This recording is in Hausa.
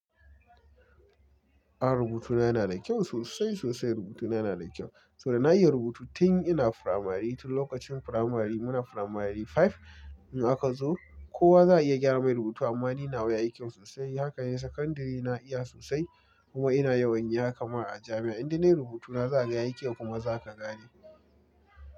A rubutuna yana da kyau sosai sosai rubutuna yana da kyau. Sabo da na iya rubutu tin ina firamari tin lokacin firamari muna firamari five in aka zo kowa za a iya gyara mai rubutu amma ni nawa ya yi kyau sosai. Haka ne sakandare na iya sosai kuma ina yawan yi haka ma a jami'a inda ne rubutuna za a ga ya yi kyau kuma za ka gane.